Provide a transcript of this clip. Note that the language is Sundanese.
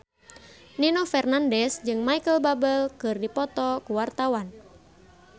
Nino Fernandez jeung Micheal Bubble keur dipoto ku wartawan